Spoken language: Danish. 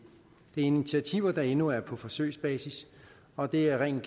er initiativer der endnu er på forsøgsbasis og det er ren